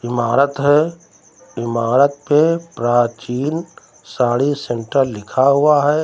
इमारत है इमारत पे प्राचीन साड़ी सेंटर लिखा हुआ है।